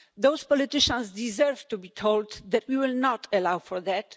Those politicians deserve to be told that we will not allow for that.